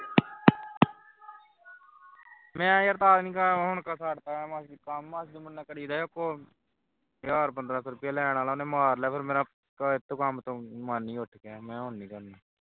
ਮੈਂ ਯਾਰ ਤਾਂ ਨਹੀਂ ਹੁਣ ਛੱਡ ਦਾ ਮਤਲਬ ਕੀ ਕੰਮ ਮਕਤਲ ਕੰਮ ਕਰੇਗਾ ਸੀ ਉਸ ਕੋਲ ਹਜਾਰ ਪੰਦਰਾਂ ਸੌ ਲੈਣ ਵਾਲਾ ਵਾ ਉਸ ਨੇ ਮਾਰ ਲਿਆ ਫੇਰ ਮੇਰਾ ਇਸ ਤੋਂ ਕੰਮ ਤੋਂ ਮਨ ਹੀ ਉੱਠ ਗਿਆ ਹੁਣ ਮੈਂ ਕਿਹਾ ਕੰਮ ਹੀ ਨਹੀਂ ਕਰਨਾ